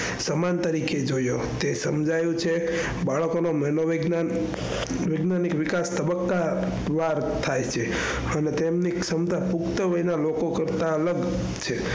સમાન તરીકે જોયું. તે સમજાયું છે બાળકો નું મનોવિજ્ઞાન વિકાસ તબક્કા વાર થાય છે. અને તેની ક્ષમતા પુખ્તવય ના લોકો કરતા અલગ છે.